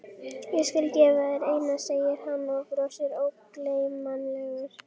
Ég skal gefa þér eina, segir hann og brosir ógleymanlegur.